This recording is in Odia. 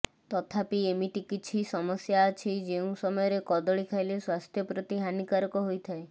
ତଥାପି ଏମିତି କିଛି ସମସ୍ୟା ଅଛି ଯେଉଁ ସମୟରେ କଦଳୀ ଖାଇଲେ ସ୍ୱାସ୍ଥ୍ୟପ୍ରତି ହାନିକାରକ ହୋଇଥାଏ